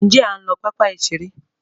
Njé a ń ló papa iṣere